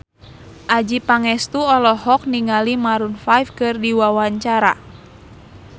Adjie Pangestu olohok ningali Maroon 5 keur diwawancara